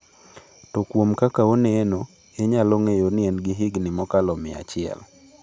To kuom kaka oneno, inyalo ng’eyo ni en gi higni mokalo mia achiel.